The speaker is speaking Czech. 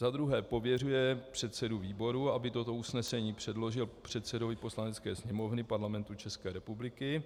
Za druhé pověřuje předsedu výboru, aby toto usnesení předložil předsedovi Poslanecké sněmovny Parlamentu České republiky,